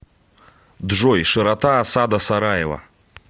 джой широта осада сараева